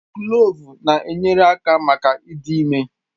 Kloovu na-enyere aka maka ịdị ime